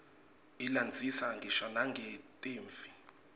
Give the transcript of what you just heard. ilandzisa ngisho nangetimphi